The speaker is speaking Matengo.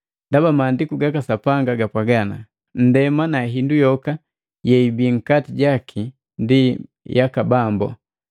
Ndaba Maandiku gaka Sapanga gapwaga, “Nndema na hindu yoka yeibii nkati jaki ndi yaka Bambu.”